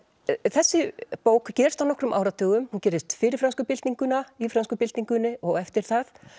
þessi bók gerist á nokkrum áratugum hún gerist fyrir frönsku byltinguna í frönsku byltingunni og eftir það